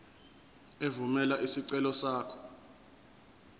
evumela isicelo sakho